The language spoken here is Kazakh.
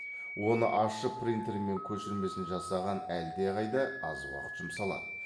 оны ашып принтермен көшірмесін жасаған әлде қайда аз уақыт жұмсалады